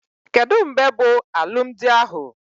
Kedụ mgbe bụ alụmdi ahụ?